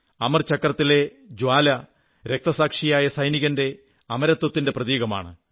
അമർ ചക്രത്തിലെ ജ്വാല രക്തസാക്ഷിയായ സൈനികന്റെ അമരത്വത്തിന്റെ പ്രതീകമാണ്